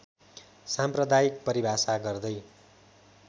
साम्प्रदायिक परिभाषा गर्दै